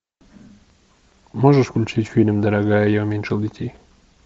можешь включить фильм дорогая я уменьшил детей